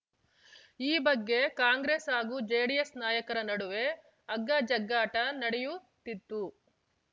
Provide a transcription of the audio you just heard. ಈ ಬಗ್ಗೆ ಕಾಂಗ್ರೆಸ್‌ ಹಾಗೂ ಜೆಡಿಎಸ್‌ ನಾಯಕರ ನಡುವೆ ಹಗ್ಗಜಗ್ಗಾಟ ನಡೆಯುತ್ತಿದ್ದು